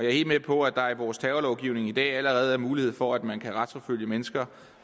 er helt med på at der i vores terrorlovgivning i dag allerede er mulighed for at man kan retsforfølge mennesker